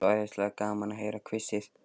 Það er svo æðislega gaman að heyra hvissið.